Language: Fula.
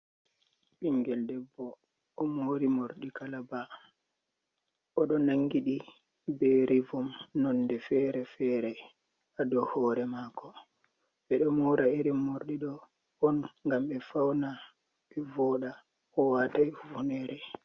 Ɓingel debbo o mori morɗi kalaba oɗo nangi ɗi be rivom nonde fere-fere, ha dou hore mako, ɓe ɗo mora irin morɗi ɗo on ngam ɓe fauna, ɓe voɗa, owatai hufunere.